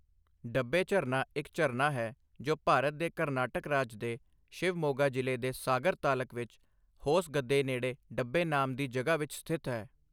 ਡੱਬੇ ਝਰਨਾ ਇੱਕ ਝਰਨਾ ਹੈ ਜੋ ਭਾਰਤ ਦੇ ਕਰਨਾਟਕ ਰਾਜ ਦੇ ਸ਼ਿਵਮੋਗਾ ਜ਼ਿਲ੍ਹੇ ਦੇ ਸਾਗਰ ਤਾਲਕ ਵਿੱਚ ਹੋਸਗੱਦੇ ਨੇੜੇ ਡੱਬੇ ਨਾਮ ਦੀ ਜਗ੍ਹਾ ਵਿੱਚ ਸਥਿਤ ਹੈ